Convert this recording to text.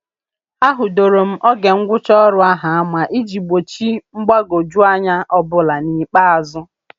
A hudoro m oge ngwụcha ọrụ ahụ ama iji gbochi mgbagwoju anya ọbụla n'ikpeazụ.